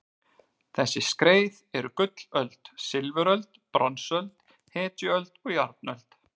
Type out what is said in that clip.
Þessi skeið eru gullöld, silfuröld, bronsöld, hetjuöld og járnöld.